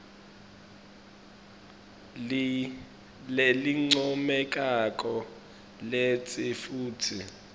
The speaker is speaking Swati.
lelincomekako kantsi futsi